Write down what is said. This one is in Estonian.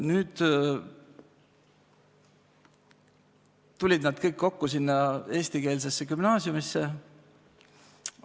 Nüüd tulid nad kõik sinna eestikeelsesse gümnaasiumisse.